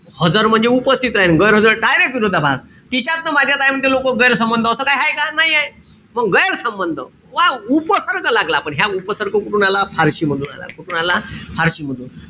हजर म्हणजे उपस्थित राहणे. गैरहजर direct विरोधाभास. तिच्यात न माझ्यात आहे म्हणते लोकं गैरसंबंध. असं काई हाये का? नाहीये. मंग गैरसंबंध. उपसर्ग लागला पण ह्या उपसर्ग कुठून आला? फारशी मधून आला. कुठून आला? फारशी मधून.